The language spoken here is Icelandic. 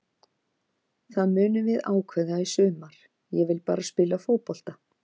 Það munum við ákveða í sumar, ég vil bara spila fótbolta.